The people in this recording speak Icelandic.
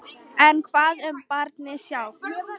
En hvað um barnið sjálft?